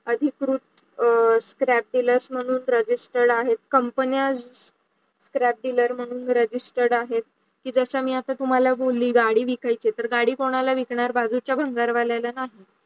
अधिकृत अं Scrap Dealers म्हणून Registered आहेत कंपनिया Scrap Dealer म्हणून Registered आहेत की ज्याचा तुम्हाला आता बोली गाडी विकायची आहे तर गाडी कोणाला विकणार? बाजूच्या भंगार वाल्या ला नाही.